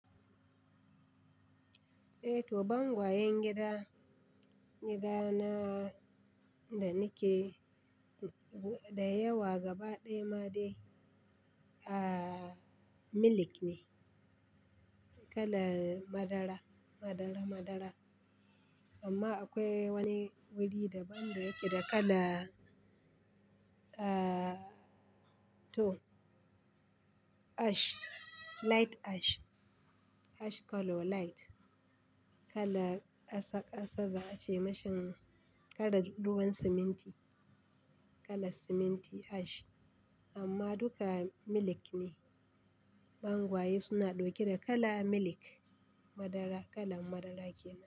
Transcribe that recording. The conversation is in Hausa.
Eh to bangwayen gida, gida na da nike da yawa gaba ɗaya ma dai a milk ne, kala madara madara madara. Amma akwai wani wuri daban da yake da kala a to ash light ash, ash color light, kala ƙasa ƙasa za a ce mashin kalar ruwan siminti, kala siminti ash amma duka milk ne. Bangwaye suna ɗauke da kala milk madara kala madara kenan.